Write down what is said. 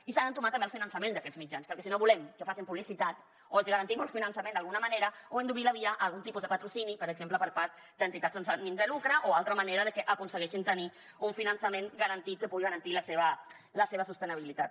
i s’ha d’entomar també el finançament d’aquests mitjans perquè si no volem que facin publicitat o els garantim el finançament d’alguna manera o hem d’obrir la via a algun tipus de patrocini per exemple per part d’entitats sense ànim de lucre o altra manera de que aconsegueixin tenir un finançament garantit que pugui garantir la seva sostenibilitat